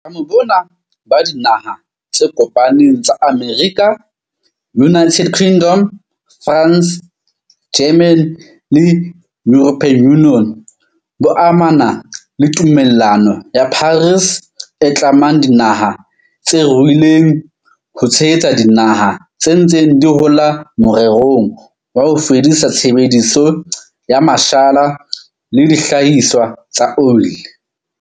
Boitlamo bona ba Dinaha tse Kopaneng tsa Amerika, United Kingdom, France, Germany le European Union bo amana le Tumellano ya Paris, e tlamang dinaha tse ruileng ho tshehetsa dinaha tse ntseng di hola morerong wa ho fedisa tshebediso ya mashala le dihlahiswa tsa oli.